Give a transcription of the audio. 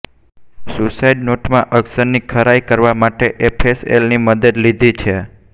suicide નોટમાં અક્ષરની ખરાઈ કરવા માટે એફએસએલની મદદ લીધી છે